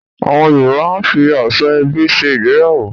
Awon Yoruba a fi Asoebi se igbeyawo